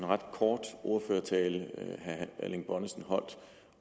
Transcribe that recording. ret kort ordførertale herre erling bonnesen holdt